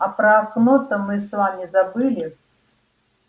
а про окно-то мы с вами забыли